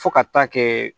Fo ka taa kɛ